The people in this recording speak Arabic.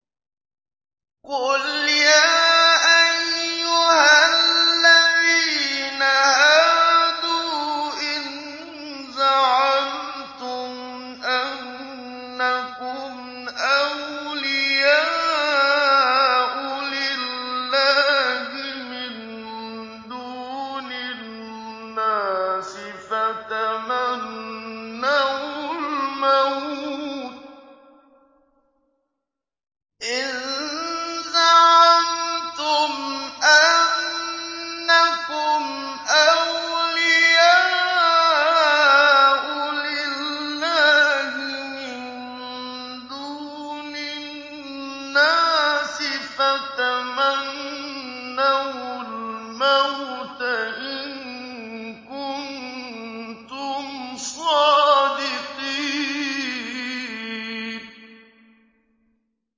قُلْ يَا أَيُّهَا الَّذِينَ هَادُوا إِن زَعَمْتُمْ أَنَّكُمْ أَوْلِيَاءُ لِلَّهِ مِن دُونِ النَّاسِ فَتَمَنَّوُا الْمَوْتَ إِن كُنتُمْ صَادِقِينَ